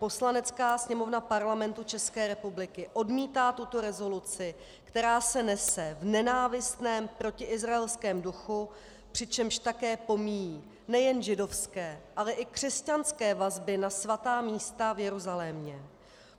Poslanecká sněmovna Parlamentu České republiky odmítá tuto rezoluci, která se nese v nenávistném protiizraelském duchu, přičemž také pomíjí nejen židovské, ale i křesťanské vazby na svatá místa v Jeruzalémě.